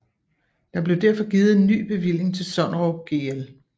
Der blev derfor givet en ny bevilling til Sonnerup Gl